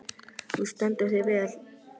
Þú stendur þig vel, Louise!